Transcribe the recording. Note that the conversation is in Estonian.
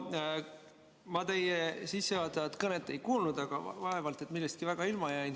Jaa, no ma teie sissejuhatavat kõnet ei kuulnud, aga vaevalt et ma millestki väga ilma jäin.